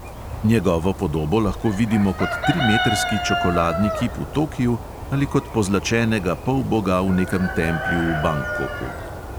Njegovo podobo lahko vidimo kot trimetrski čokoladni kip v tokiu ali kot pozlačenega polboga v nekem templju v bangkoku.